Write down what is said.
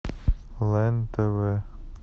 лен тв